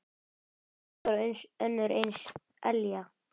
Þvílík og önnur eins elja.